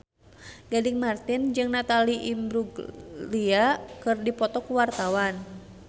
Gading Marten jeung Natalie Imbruglia keur dipoto ku wartawan